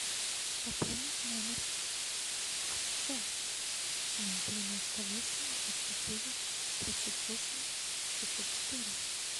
пополнить номер отца ноль девяносто восемь двадцать девять тридцать восемь шестьсот четыре